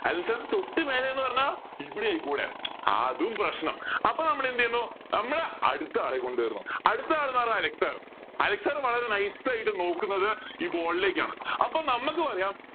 Allen sir ന് തൊട്ട് മേലെന്ന് പറഞ്ഞ ഇവിടെ ആയിക്കൂടെ അതും പ്രശ്നം അപ്പൊ നമ്മൾ എന്ത് ചെയുന്നു നമ്മൾ അടുത്ത ആളെ കൊണ്ട് വരുന്നു അടുത്ത ആളെന്ന് പറഞ്ഞ അലൻ sir അലക്സ് sir വളരെ nice ആയിട്ട് നോക്കുന്നത് ഈ board ലേക്കാണ് അപ്പൊ നമക്ക് പറയാം